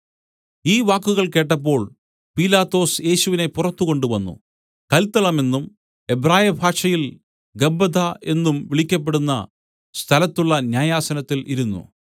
ഈ വാക്കുകൾ കേട്ടപ്പോൾ പീലാത്തോസ് യേശുവിനെ പുറത്തു കൊണ്ടുവന്നു കല്ത്തളമെന്നും എബ്രായ ഭാഷയിൽ ഗബ്ബഥാ എന്നും വിളിക്കപ്പെടുന്ന സ്ഥലത്തുള്ള ന്യായാസനത്തിൽ ഇരുന്നു